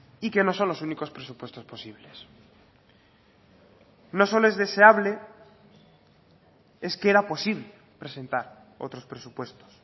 y que no son los únicos presupuestos posibles no solo es deseable es que era posible presentar otros presupuestos